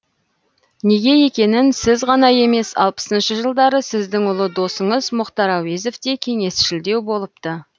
неге екенін сіз ғана емес алпысыншы жылдары сіздің ұлы досыңыз мұхтар әуезов те кеңесшілдеу болыпты